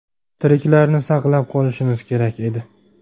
Tiriklarni saqlab qolishimiz kerak edi.